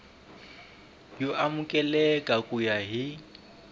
yo amukeleka ku ya hi